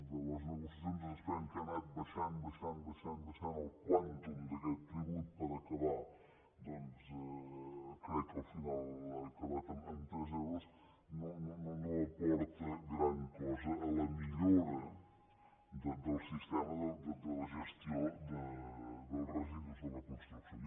i de les negociaci·ons es desprèn que ha anat baixant baixant el quantum d’aquest tribut per acabar doncs crec que al final ha acabat en tres euros no aporta gran cosa a la millora del sistema de la gestió dels residus de la construcció